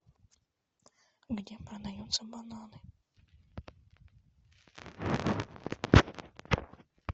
где продаются бананы